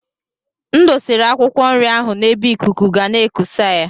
M dosara akwụkwọ nri ahụ n’ebe ikuku ga na-ekusa ya